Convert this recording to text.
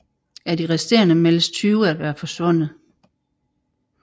Af de resterende meldes 20 at være forsvundet